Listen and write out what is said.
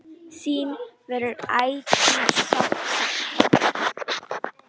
Þín verður ætíð sárt saknað.